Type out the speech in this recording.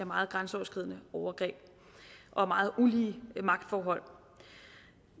meget grænseoverskridende overgreb og meget ulige magtforhold